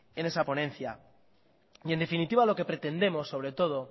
en esa ponencia en definitiva lo que pretendemos sobre todo